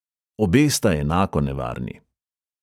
Obe sta enako nevarni.